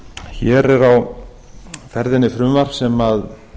hér er á ferðinni frumvarp sem